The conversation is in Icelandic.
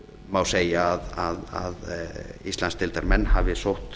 má segja að íslandsdeildarmenn hafi sótt